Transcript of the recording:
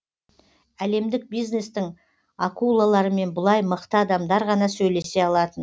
әлемдік бизнестің акулаларымен бұлай мықты адамдар ғана сөйлесе алатын